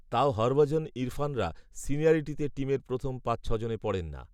তাও হরভজন ইরফানরা, সিনিয়রিটিতে টিমের প্রথম পাচঁছজনে পড়েন না